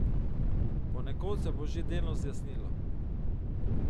Ponekod se bo že delno zjasnilo.